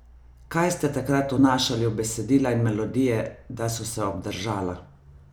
Kaj ste takrat vnašali v besedila in melodije, da so se obdržala?